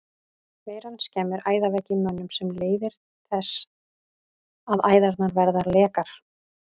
Veiran skemmir æðaveggi í mönnum sem leiðir þess að æðarnar verða lekar.